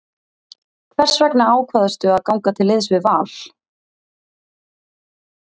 Hvers vegna ákvaðstu að ganga til liðs við Val?